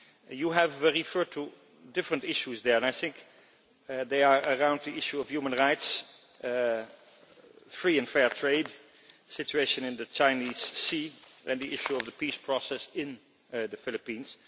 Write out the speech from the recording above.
You have referred to different issues there and I think they are around the issue of human rights, free and fair trade, the situation in the Chinese Sea and the issue of the peace process in the Philippines.